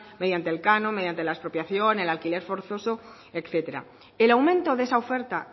mediante el canon mediante la expropiación el alquiler forzoso etcétera el aumento de esa oferta